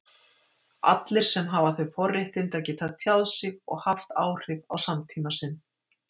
allir sem hafa þau forréttindi að geta tjáð sig og haft áhrif á samtíma sinn.